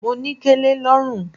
Mo ní kẹlẹ lọ́rùn.